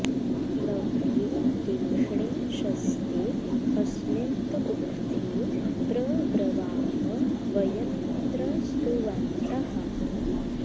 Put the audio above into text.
नव्ये देष्णे शस्ते अस्मिन्त उक्थे प्र ब्रवाम वयमिन्द्र स्तुवन्तः